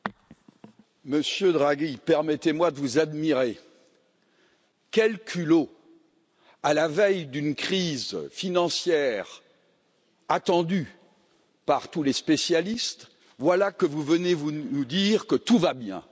Monsieur le Président, Monsieur Draghi, permettez moi de vous admirer. Quel culot! À la veille d'une crise financière attendue par tous les spécialistes, voilà que vous venez nous dire que tout va bien.